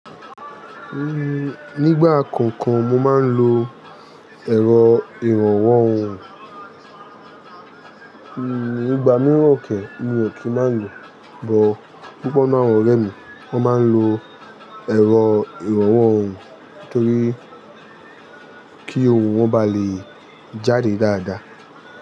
Nígbà kankan mo máa ń lo ẹ̀rọ ìrànwọ́ ohùn, nígbà mìíràn òkè mi ò kí ń má lo. Ìbò púpọ̀ náà wọ́n rẹ̀ mi, wọ́n máa ń lo ẹ̀rọ ìrànwọ́ ohùn torí kí ohùn wọ́n bá lè jáde dáadáa.